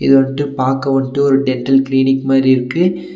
இது வன்ட்டு பாக்க வன்ட்டு ஒரு டென்டல் கிளினிக் மாரி இருக்கு.